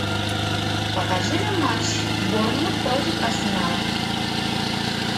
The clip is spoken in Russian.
покажи нам матч борнмут против арсенала